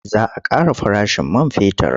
Za a ƙara farashin man fetur.